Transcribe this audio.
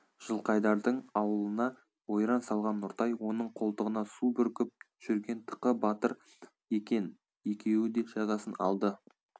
жылқайдардың аулына ойран салған нұртай оның қолтығына су бүркіп жүрген тықы батыр екен екеуі де жазасын алды